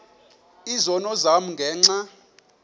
izono zam ngenxa